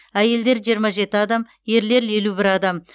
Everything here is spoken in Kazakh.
әйелдер жиырма жеті адам ерлер елу бір адам